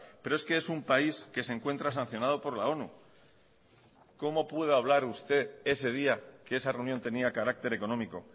pero es que es un país que se encuentra sancionado por la onu cómo puede hablar usted ese día que esa reunión tenía carácter económico